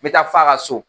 N bɛ taa f'a ka so